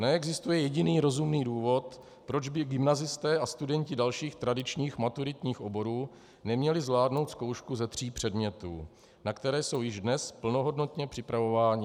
Neexistuje jediný rozumný důvod, proč by gymnazisté a studenti dalších tradičních maturitních oborů neměli zvládnout zkoušku ze tří předmětů, na které jsou již dnes plnohodnotně připravováni.